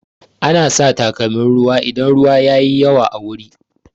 Ana sa takalmin ruwa idan ruwa yayi yawa a wuri